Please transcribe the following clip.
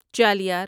Chaliyar